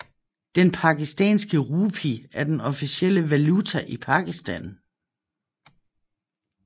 Den pakistanske rupi er den officielle valuta i Pakistan